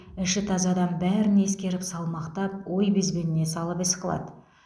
іші таза адам бәрін ескеріп салмақтап ой безбеніне салып іс қылады